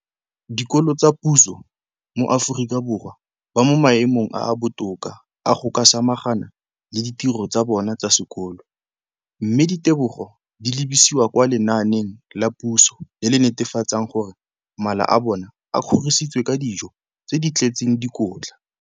dikolo tsa puso mo Aforika Borwa ba mo maemong a a botoka a go ka samagana le ditiro tsa bona tsa sekolo, mme ditebogo di lebisiwa kwa lenaaneng la puso le le netefatsang gore mala a bona a kgorisitswe ka dijo tse di tletseng dikotla.